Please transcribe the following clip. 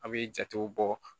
An bɛ jatew bɔ